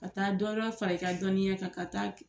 Ka taa dɔ wɛrɛ far'i ka dɔnniya kan, ka taa